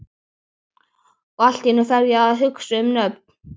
Og allt í einu fer ég að hugsa um nöfn.